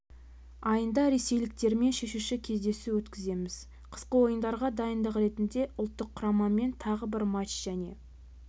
айында ресейліктермен шешуші кездесу өткіземіз қысқы ойындарға дайындық ретінде ұлттық құрамамен тағы бір матч және